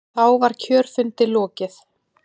Þá var kjörfundi lokið.